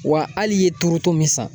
Wa hali i ye turuto min san